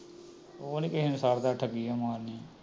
ਉਹ ਨਹੀਂ ਕਿਸੇ ਨੂੰ ਛੱਡਦਾ ਠੱਗੀਆਂ ਮਾਰਨੀ